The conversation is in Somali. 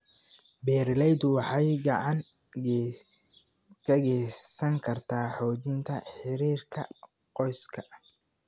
Beeralaydu waxay gacan ka geysan kartaa xoojinta xiriirka qoyska.